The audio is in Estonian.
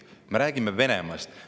Me räägime Venemaast.